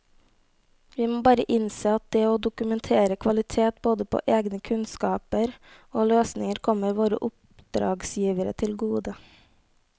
Vi må bare innse at det å dokumentere kvalitet både på egne kunnskaper og løsninger kommer våre oppdragsgivere til gode.